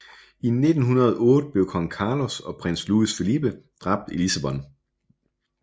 I 1908 blev kong Carlos og prins Luís Filipe dræbt i Lissabon